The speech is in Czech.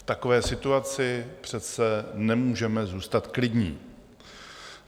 V takové situaci přece nemůžeme zůstat klidní.